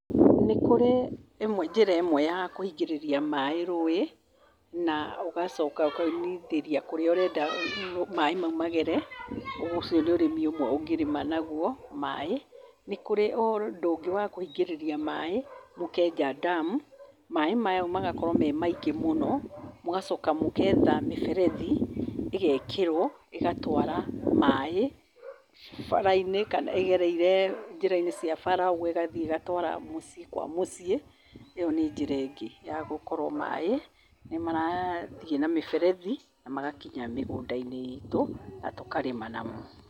Nĩkũrĩ ĩmwe njĩra ĩmwe ya kũingĩrĩria maĩ rũĩ na ũgacoka ũkaunithĩria kũrĩa ũrenda maĩ magere . Ucio nĩ ũrĩmi ũmwe ũngĩrĩma naguo maĩ. Nĩkũrĩ ũndũ ũngĩ wakũingĩrĩria maĩ, mũkenja dam maĩ mau magakorwo memaingĩ mũno. Mũgacoka mũgetha mĩberethi ĩgekerwo ĩgatwara maĩ bara-inĩ kana ĩgereire njĩra-inĩ cia bara ĩgathiĩ ĩgatwara mũciĩ kwa mũciĩ. ĩo nĩnjĩra ĩngĩ ya gũkorwo maĩ nĩmarathiĩ na mĩberethi na magakinya mĩgũnda-inĩ itũ na tũkarĩma namo.